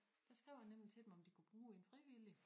Der skrev jeg nemlig til dem om de kunne bruge en frivillig